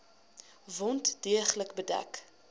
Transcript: wond deeglik bedek